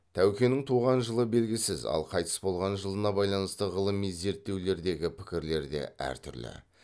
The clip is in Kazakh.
тәукенің туған жылы белгісіз ал қайтыс болған жылына байланысты ғылыми зерттеулердегі пікірлер де әр түрлі